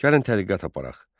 Gəlin tədqiqat aparaq.